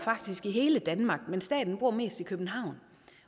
i hele danmark men staten bor mest i københavn